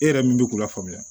E yɛrɛ min bɛ k'u lafaamuya